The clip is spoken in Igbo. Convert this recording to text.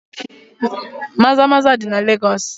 Maza-maza dị na Legọs.